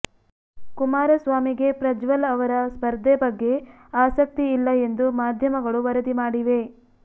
ಕುಮಾರಸ್ವಾಮಿಗೆ ಪ್ರಜ್ವಲ್ ಅವರ ಸ್ಪರ್ಧೆ ಬಗ್ಗೆ ಆಸಕ್ತಿ ಇಲ್ಲ ಎಂದು ಮಾಧ್ಯಮಗಳು ವರದಿ ಮಾಡಿವೆ